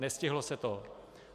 Nestihlo se to.